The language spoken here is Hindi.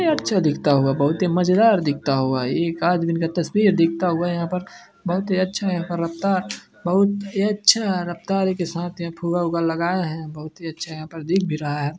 ये अच्छा दिखता हुआ बोहोत ही मजेदार दिखता हुआ एक आदमी का तस्वीर दिखता हुआ यहाँ पर बोहोत ही अच्छा यहाँ पर रफ़्तार बोहत ही अच्छा रफ़्तारी के साथ यहाँ फुगा -उगा लगाए है बोहउत ही अच्छा यहाँ पर दिख भी रहा है।